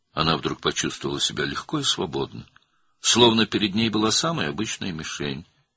birdən özünü yüngül və azad hiss etdi, sanki qarşısında ən adi hədəf var idi.